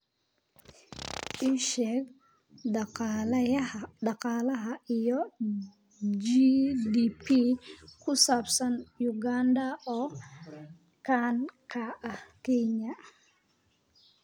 ii sheeg dhaqaalaha iyo g. d. p. ku saabsan Uganda oo ka dhan ah Kenya